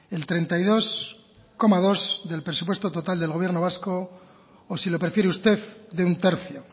el treinta y dos coma dos del presupuesto total del gobierno vasco o si lo prefiere usted de un tercio